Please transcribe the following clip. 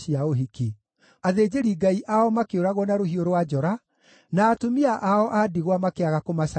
athĩnjĩri-Ngai ao makĩũragwo na rũhiũ rwa njora, na atumia ao a ndigwa makĩaga kũmacakaĩra.